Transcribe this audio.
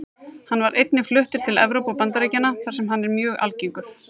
Hann var einnig fluttur til Evrópu og Bandaríkjanna þar sem hann er mjög algengur.